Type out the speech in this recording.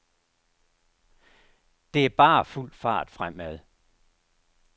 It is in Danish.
Det er bare fuld fart fremad.